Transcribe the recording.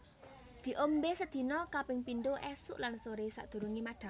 Diombe sedina kaping pindho esuk lan sore sadurunge madhang